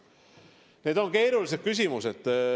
Need on keerulised küsimused.